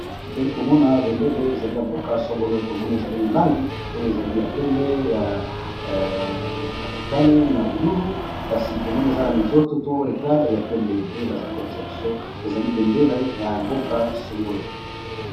Tozali komona bendele ezali ya mboka songolo tomone ezali na langi oyo ezali ya pembe ya ya motane na bululu, kasi tomone eza na mizoto to etwale ya pembe nde baza kolokisa biso ezali bendele ya mboka songolo.